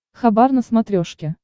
хабар на смотрешке